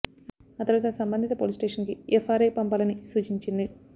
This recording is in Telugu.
ఆ తరువాత సంబంధిత పోలీస్ స్టేషన్ కి ఎఫ్ఐఆర్ పంపాలని సూచించింది